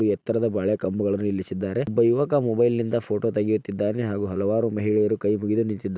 ಎತ್ತರದ ಬಾಳೆ ಕಂಬಗಳ್ಳನ್ನು ಇಲ್ಲಿಸಿದ್ದಾರೆ. ಒಬ್ಬಾ ಯುವಕ ಮೊಬೈಲ್ ನಿಂದ ಫೋಟೋ ತಗೆಯುತ್ತಿದ್ದಾನೆ ಹಾಗು ಹಲವಾರು ಮಹಿಳೆಯರು ಕೈ ಮುಗಿದು ನಿಂತಿದ್ದಾ--